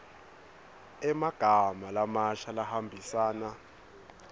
emagama lamasha lahambisana